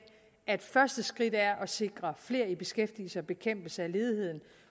at første skridt er at sikre flere i beskæftigelse og en bekæmpelse af ledigheden